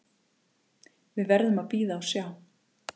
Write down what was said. Við verðum að bíða og sjá